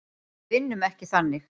Við vinnum ekki þannig.